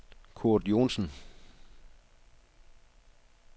Kurt Johnsen